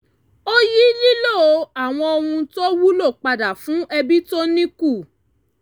ó yí lílò àwọn ohun tó wúlò padà fún ẹbí tó ní kù